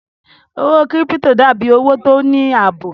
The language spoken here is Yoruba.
Owó kírípítò dà bí owó tó ní àbò